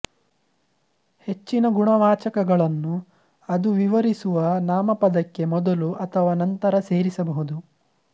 ಹೆಚ್ಚಿನ ಗುಣವಾಚಕಗಳನ್ನು ಅದು ವಿವರಿಸುವ ನಾಮಪದಕ್ಕೆ ಮೊದಲು ಅಥವಾ ನಂತರ ಸೇರಿಸಬಹುದು